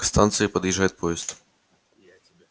к станции подъезжает поезд